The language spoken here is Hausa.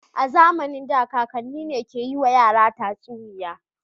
A zamanin da kakanni ne ke yiwa yara tatsuniya.